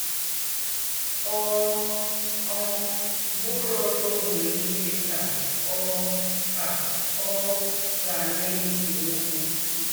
“Ọ̀ um bùrọ̀ ruò mgbè nílé ká Ọ̀ ká Ọ̀ gà nà-èsé ókwú.”